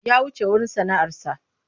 Ya wuce wurin sana'arsa.